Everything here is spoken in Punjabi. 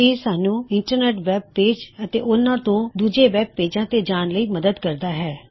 ਇਹ ਸਾਨ੍ਹੂੱ ਇੰਟਰਨੈਟ ਵੈਬ ਪੇਜ ਅਤੇ ਓਹਨਾ ਤੋਂ ਦੂਜੇ ਵੈਬ ਪੇਜਾਂ ਤੇ ਜਾਨ ਲਈ ਮਦੱਦ ਕਰਦਾ ਹੈ